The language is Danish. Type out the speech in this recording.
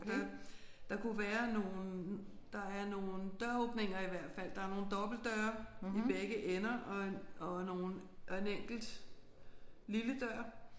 Der der kunne være nogle der er nogle døråbninger i hvert fald. Der er nogle dobbeltdøre i begge ender og en og nogle og en enkelt lille dør